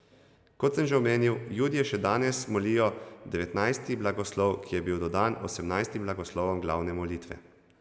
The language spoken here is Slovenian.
Kot sem že omenil, Judje še danes molijo devetnajsti blagoslov, ki je bil dodan osemnajstim blagoslovom glavne molitve.